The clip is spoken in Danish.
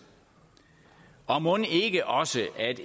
og mon ikke også